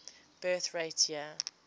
birth rate year